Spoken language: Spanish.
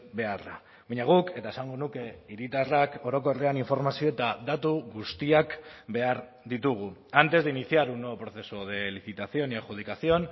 beharra baina guk eta esango nuke hiritarrak orokorrean informazio eta datu guztiak behar ditugu antes de iniciar un nuevo proceso de licitación y adjudicación